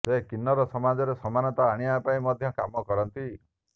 ସେ କିନ୍ନର ସମାଜରେ ସମାନତା ଆଣିବା ପାଇଁ ମଧ୍ୟ କାମ କରନ୍ତି